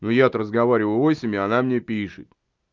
ну я-то разговариваю войсами а она мне пишет